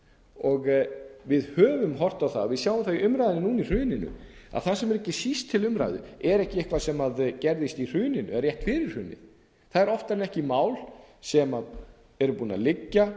sama borð við höfum horft á það við sjáum það í umræðunni núna í hruninu að það sem er ekki síst til umræðu er ekki eitthvað sem gerðist í hruninu eða rétt fyrir hrunið það eru oftar en ekki mál sem eru búin að liggja